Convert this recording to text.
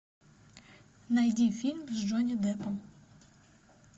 найди фильм с джонни деппом